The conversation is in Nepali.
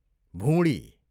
भुँडी